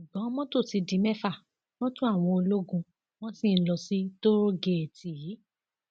ṣùgbọn mọtò ti di mẹfà mọtò àwọn ológun wọn sì ń lọ sí tóòrégèètì yìí